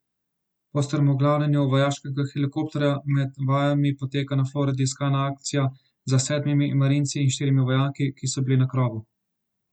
Po strmoglavljenju vojaškega helikopterja med vajami poteka na Floridi iskalna akcija za sedmimi marinci in štirimi vojaki, ki so bili na krovu.